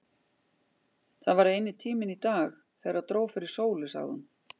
Það var eini tíminn í dag, þegar dró fyrir sól sagði hún.